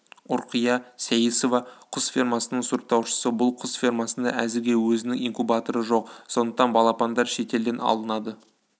ұрқия сейісова құс фермасының сұрыптаушысы бұл құс фермасында әзірге өзінің инкубаторы жоқ сондықтан балапандар шетелден алынады